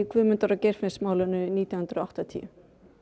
Guðmundar og Geirfinnsmálum árið nítján hundruð og áttatíu